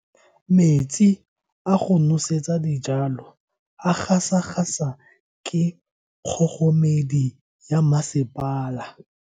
Metsi a go nosetsa dijalo a gasa gasa ke kgogomedi ya masepala.